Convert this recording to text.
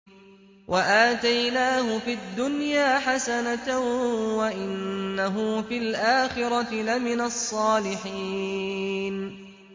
وَآتَيْنَاهُ فِي الدُّنْيَا حَسَنَةً ۖ وَإِنَّهُ فِي الْآخِرَةِ لَمِنَ الصَّالِحِينَ